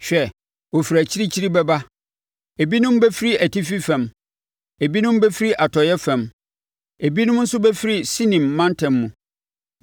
Hwɛ, wɔfiri akyirikyiri bɛba ebinom bɛfiri atifi fam, ebinom bɛfiri atɔeɛ fam ebinom nso bɛfiri Sinin mantam mu.”